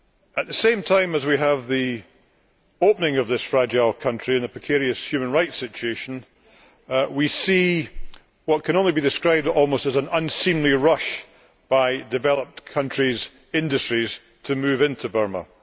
At the same time as we have the opening of this fragile country with a precarious human rights situation, we see what can be described as almost an unseemly rush by developed countries' industries to move into Burma.